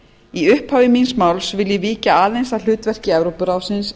í upphafi vil ég víkja aðeins að hlutverki evrópuráðsins